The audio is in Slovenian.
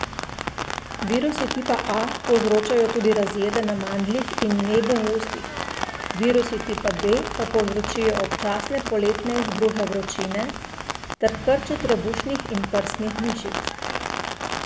Virusi tipa A povzročajo tudi razjede na mandljih in nebu v ustih, virusi tipa B pa povzročajo občasne poletne izbruhe vročine ter krče trebušnih in prsnih mišic.